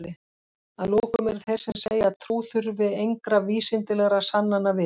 Að lokum eru þeir sem segja að trú þurfi engra vísindalegra sannana við.